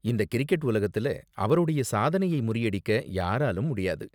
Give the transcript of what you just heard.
இந்த கிரிக்கெட் உலகத்துல அவரோட சாதனையை முறியடிக்க யாராலும் முடியாது.